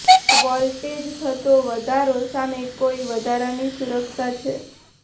ત્યાં વોલ્ટેજ થતો વધારો સામે કોઈ વધારાની સુરક્ષા છે